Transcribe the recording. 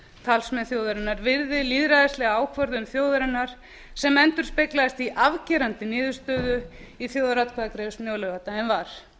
talsmenn þjóðarinnar virði lýðræðislega ákvörðun þjóðarinnar sem endurspeglaðist í afgerandi niðurstöðu í þjóðaratkvæðagreiðslunni á laugardaginn var